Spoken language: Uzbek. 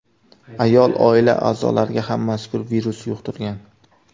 Ayol oila a’zolariga ham mazkur virusni yuqtirgan.